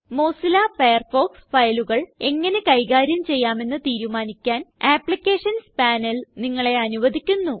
Mozilla Firefox ഫയലുകൾ എങ്ങനെ കൈകാര്യം ചെയ്യാമെന്ന് തീരുമാനിക്കാൻ അപ്ലിക്കേഷൻസ് പനേൽ നിങ്ങളെ അനുവധിക്കുന്നു